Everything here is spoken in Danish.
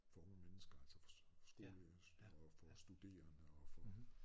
For unge mennesker altså for skole og for studerende og for